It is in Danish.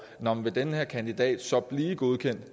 nå men vil den her kandidat så blive godkendt